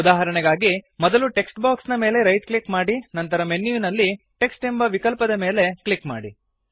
ಉದಾಹರಣೆಗಾಗಿ ಮೊದಲು text box ನ ಮೇಲೆ ರೈಟ್ ಕ್ಲಿಕ್ ಮಾಡಿ ನಂತರ ಮೆನ್ಯುವಿನಲ್ಲಿ ಟೆಕ್ಸ್ಟ್ ಎಂಬ ವಿಕಲ್ಪದ ಮೇಲೆ ಕ್ಲಿಕ್ ಮಾಡಿ